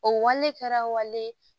O wale kɛra wale